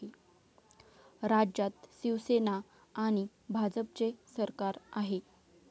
राज्यात शिवसेना आणि भाजपचे सरकार आहे.